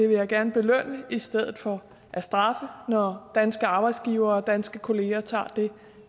vil gerne belønne det i stedet for at straffe det når danske arbejdsgivere og danske kolleger tager det